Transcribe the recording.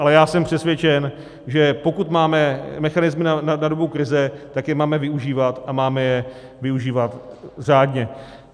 Ale já jsem přesvědčen, že pokud máme mechanismy na dobu krize, tak je máme využívat, a máme je využívat řádně.